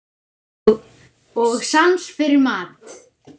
Og sans fyrir mat.